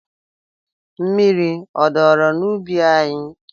Mmiri a dọrọ n'ubi anyị?